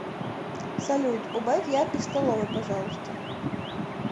салют убавь яркость в столовой пожалуйста